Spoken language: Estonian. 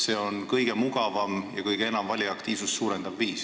See on kõige mugavam ja kõige enam valijate aktiivsust suurendav viis.